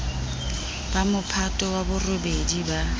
ba mophato wa borobedi ba